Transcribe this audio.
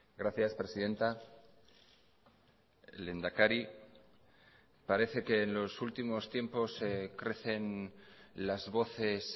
gracias presidenta lehendakari parece que en los últimos tiempos crecen las voces